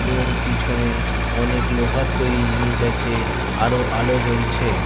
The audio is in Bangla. এবং পিছনে অনেক লোহার তৈরি জিনিস আছে। আরো আলো জ্বলছে।